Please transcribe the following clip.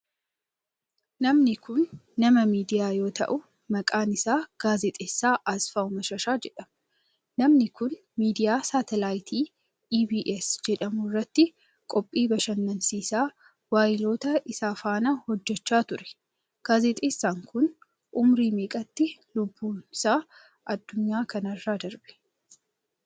Namni kun, nama miidiyaa yoo ta'u, maqaan isaa Gaazexeessaa Asfaaw Mashashaa jedhama. Namni kun miidiyaa saatalaaytii EBS jedhamu irratti qophii bashannansiisaa waayiloota isaa faana hojjachaa ture. Gaazexeessaan kun, umurii neeqatti lubbuun isaa addunyaa kana irraa darbe?